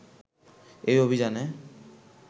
এই অভিযানে